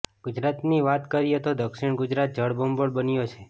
ગુજરાતની વાત કરીએ તો દક્ષિણ ગુજરાત જળબંબોળ બન્યો છે